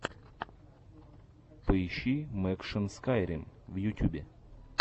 поищи мэкшан скайрим в ютюбе